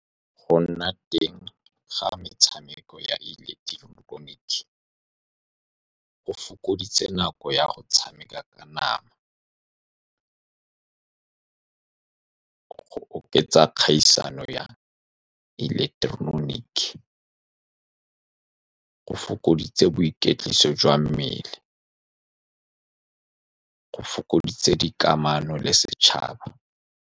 Go nna teng ga metshameko ya ileketoroniki, go fokoditse nako ya go tshameka ka nama, go oketsa kgaisano ya ileketeroniki, go fokoditse boikwetliso jwa mmele, go fokoditse dikamano le setšhaba.